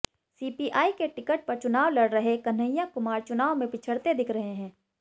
CPI के ticket पर चुनाव लड़ रहे कन्हैया कुमार चुनाव में पिछड़ते दिख रहे हैं